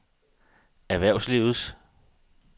erhvervslivet